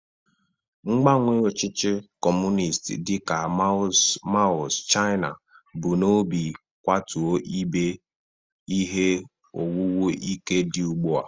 Mgbanwe ọchịchị Kọmunist dị ka Mao's China bu n'obi kwatuo ihe owuwu ike dị ugbu a.